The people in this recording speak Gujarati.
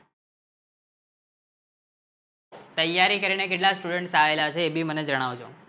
તૈયારી કરીને કેટલા Student આયેલા છે એ ભી મને જણાવજો